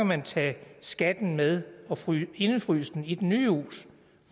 man tage skatten med og indefryse den i det nye hus